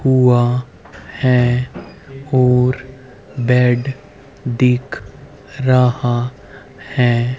हुआ है और बेड दिख रहा है।